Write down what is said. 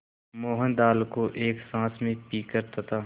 मोहन दाल को एक साँस में पीकर तथा